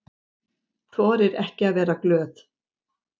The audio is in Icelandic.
Þorir ekki að vera glöð.